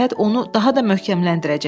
Səyahət onu daha da möhkəmləndirəcək.